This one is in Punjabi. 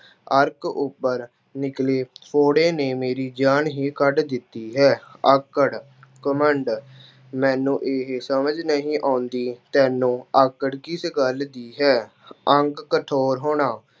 ਅਰਕ ਉੱਪਰ ਨਿਕਲੀ ਫੌੜੇ ਨੇ ਮੇਰੀ ਜਾਨ ਹੀ ਕੱਢ ਦਿੱਤੀ ਹੈ। ਆਕੜ- ਘੁਮੰਡ- ਮੈਨੂੰ ਇਹ ਸਮਝ ਨਹੀਂ ਆਉਂਦੀ, ਤੈਨੂੰ ਆਕੜ ਕਿਸ ਗੱਲ ਦੀ ਹੈ। ਅੰਗ ਕਠੋਰ ਹੋਣਾ-